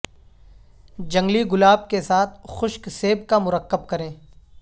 جنگلی گلاب کے ساتھ خشک سیب کا مرکب کریں